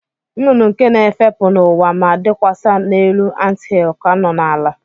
Nnụnụ nke na-efepụ n'ụwa ma dakwasị n'elu anthill ka nọ n'ala.